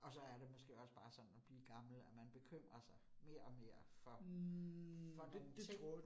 Og så er det måske også bare sådan at blive gammel, at man bekymrer sig mere og mere for for nogle ting